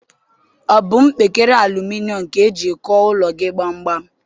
Ọ bụ mpekere aluminom ka i jiri kụọ ụlọ gị gbamgbam?